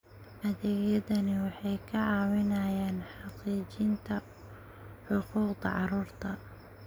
Adeegyadani waxay ka caawinayaan xaqiijinta xuquuqda carruurta.